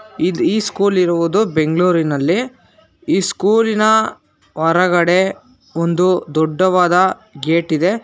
ಇದು ಈ ಸ್ಕೂಲ್ ಇರುವುದು ಬೆಂಗಳೂರಿನಲ್ಲಿ ಈ ಸ್ಕೂಲಿನ ಹೊರಗಡೆ ಒಂದು ದೊಡ್ಡವಾದ ಗೇಟ್ ಇದೆ.